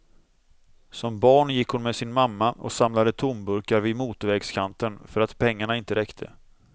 Som barn gick hon med sin mamma och samlade tomburkar vid motorvägskanten, för att pengarna inte räckte.